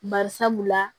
Bari sabu la